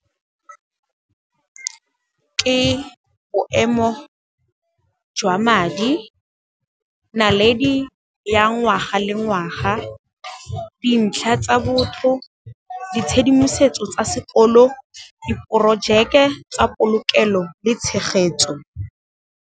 Ke boemo jwa madi, naledi ya ngwaga le ngwaga, dintlha tsa botho, ditshedimosetso tsa sekolo, diprojeke tsa polokelo le tshegetso.